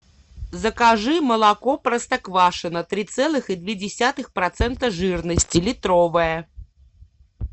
закажи молоко простоквашино три целых и две десятых процента жирности литровое